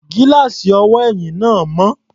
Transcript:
Gíláàsì ọwọ́ ẹ̀yìn náà mọ́.